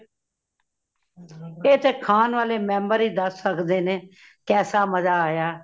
ਇਹ ਤੇ ਖਾਨ ਵਾਲੇ member ਹੀ ਦੱਸ ਸੱਕਦੇ ਨੇ, ਕੇਸਾ ਮਝਾ ਆਯਾ